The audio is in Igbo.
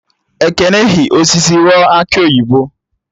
Ekene hi osisi aghọ akị oyibo